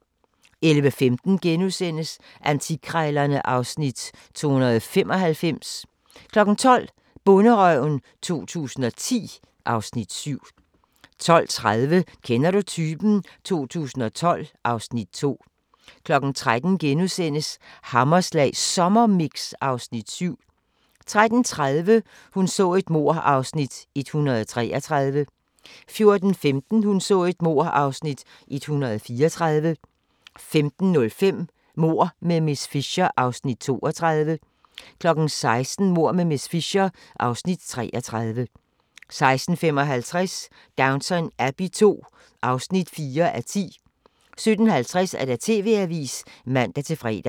11:15: Antikkrejlerne (Afs. 295)* 12:00: Bonderøven 2010 (Afs. 7) 12:30: Kender du typen? 2012 (Afs. 2) 13:00: Hammerslag Sommermix (Afs. 7)* 13:30: Hun så et mord (Afs. 133) 14:15: Hun så et mord (Afs. 134) 15:05: Mord med miss Fisher (Afs. 32) 16:00: Mord med miss Fisher (Afs. 33) 16:55: Downton Abbey II (4:10) 17:50: TV-avisen (man-fre)